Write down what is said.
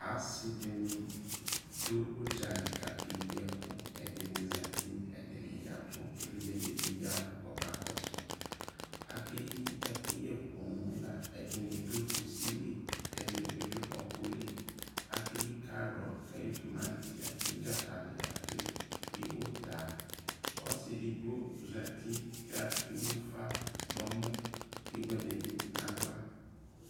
ase dini do udzali ko akeyi ɛko edini zati, edini yavo evidze dibi yavo ko ɔka kɔso akpe yi ɛkoyɛ poo la, edi ni do kusi li ko edi ni do ɔko li akeyi karot, akeyi tomati, akeyi dzakali, akeyi uta ɔsi edigbo zati kewu ufa no ɔmɔ ko ewu edi bi no ala